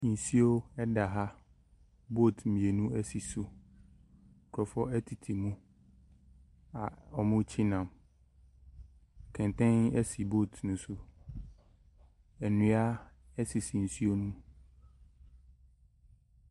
Nsuo da ha. Boat mmirnu sisi mu, nkurɔfoɔ tete mu a wɔretwe nam. Kɛntɛn si boat ne so. Nnua sisi nsuo ne mu.